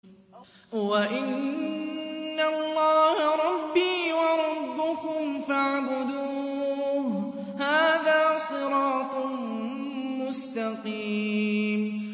وَإِنَّ اللَّهَ رَبِّي وَرَبُّكُمْ فَاعْبُدُوهُ ۚ هَٰذَا صِرَاطٌ مُّسْتَقِيمٌ